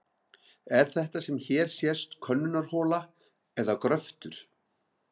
Er þetta sem hér sést könnunarhola eða gröftur?